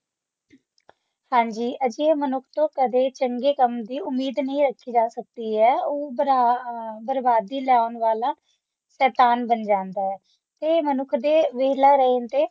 ਹਾਂਜੀ ਅਜਿਹੇ ਮਨੁੱਖ ਤੋਂ ਕਦੇ ਚੰਗੇ ਕੰਮ ਦੀ ਉੱਮੀਦ ਨਹੀਂ ਕੀਤੀ ਜਾ ਸਕਦੀ ਉਹ ਬ੍ਰਾ ਬਰਬਾਦੀ ਲਾਉਣ ਵਾਲਾ ਸ਼ੈਤਾਨ ਬਣ ਜਾਂਦਾ ਏ ਇਹ ਮਨੁੱਖ ਦੇ ਵੇਹਲਾ ਰਹਿਣ ਤੇ